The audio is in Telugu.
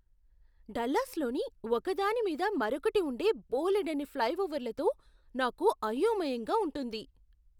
డల్లాస్లోని ఒకదాని మీద మరొకటి ఉండే బోలెడన్ని ఫ్లైఓవర్లతో నాకు అయోమయంగా ఉంటుంది.